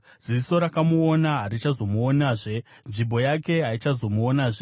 Ziso rakamuona harichazomuonazve; nzvimbo yake haichazomuonazve.